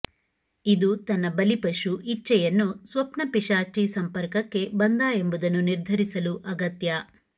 ಇದು ತನ್ನ ಬಲಿಪಶು ಇಚ್ಛೆಯನ್ನು ಸ್ವಪ್ನಪಿಶಾಚಿ ಸಂಪರ್ಕಕ್ಕೆ ಬಂದ ಎಂಬುದನ್ನು ನಿರ್ಧರಿಸಲು ಅಗತ್ಯ